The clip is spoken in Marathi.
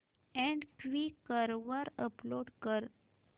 अॅड क्वीकर वर अपलोड कर